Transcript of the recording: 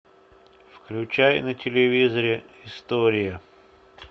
включай на телевизоре история